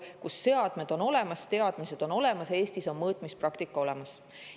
on Eestis seadmed olemas, teadmised on olemas, mõõtmispraktika on olemas.